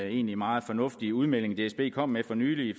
egentlig meget fornuftig udmelding dsb kom med for nylig